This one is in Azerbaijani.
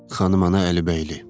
Xanım ana Əlibəyli.